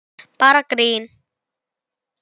Bara grín!